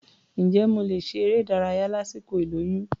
Ǹjẹ́ mo lè ṣe eré-ìdárayá lásìkò ìlóyún?